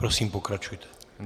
Prosím, pokračujte.